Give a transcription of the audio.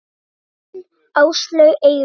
Þín Áslaug Eyrún.